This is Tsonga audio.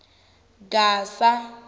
gasa